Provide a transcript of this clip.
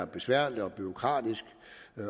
besværligt og bureaukratisk